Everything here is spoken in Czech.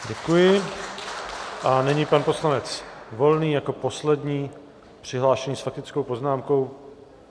Děkuji a nyní pan poslanec Volný jako poslední přihlášený s faktickou poznámkou.